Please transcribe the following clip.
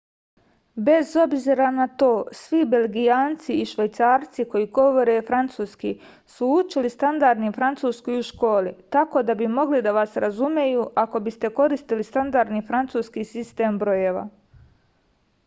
bez obzira na to svi belgijanci i švajcarci koji govore francuski su učili standardni francuski u školi tako da bi mogli da vas razumeju ako biste koristili standardni francuski sistem brojeva